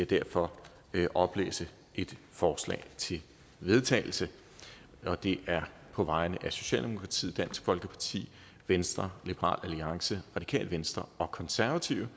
derfor oplæse et forslag til vedtagelse og det er på vegne af socialdemokratiet dansk folkeparti venstre liberal alliance radikale venstre og konservative